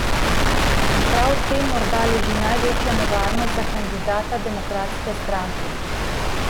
In prav v tem morda leži največja nevarnost za kandidata demokratske stranke.